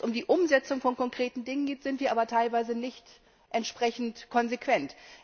Wenn es um die Umsetzung von konkreten Dingen geht, sind wir aber teilweise nicht entsprechend konsequent.